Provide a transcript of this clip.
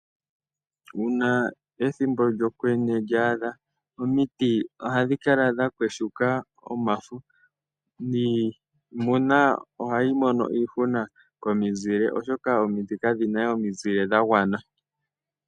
Uuna ethimbo lyokwenye lyaadha omiti ohadhi kala dha yagumuka omafo niimuna ohayi mono iihuna komizile, oshoka omiti kadhi na we omizile dha gwana.